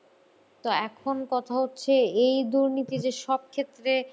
তো এখন কথা হচ্ছে এই দুর্নীতি যে সব ক্ষেত্রে